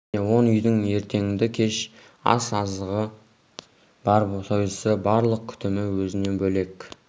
және он үйдің ертеңді-кеш ас азығы бар сойысы барлық күтімі өзіне бөлек